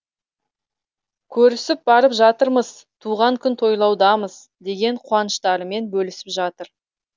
көрісіп барып жатырмыз туған күн тойлаудамыз деген қуаныштарымен бөлісіп жатыр